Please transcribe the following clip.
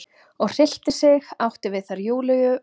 og hryllti sig, átti við þær Júlíu og